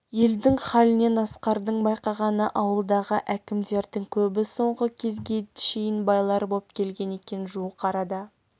елдің халінен асқардың байқағаны ауылдағы әкімдердің көбі соңғы кезге шейін байлар боп келген екен жуық арада